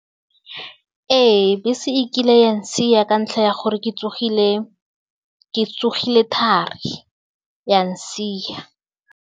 Ee bese e kile ya ntshia ka ntlha ya gore ke tsogile, ke tsogile thari ya nsia.